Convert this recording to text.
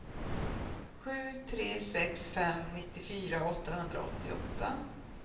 sju tre sex fem nittiofyra åttahundraåttioåtta